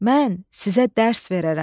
Mən sizə dərs verərəm.